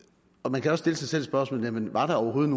man kan stille sig selv spørgsmålet var der overhovedet